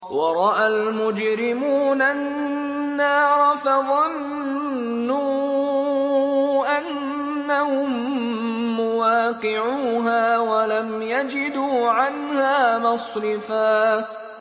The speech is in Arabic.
وَرَأَى الْمُجْرِمُونَ النَّارَ فَظَنُّوا أَنَّهُم مُّوَاقِعُوهَا وَلَمْ يَجِدُوا عَنْهَا مَصْرِفًا